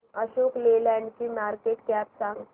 Ashok Leyland ची market cap सांगा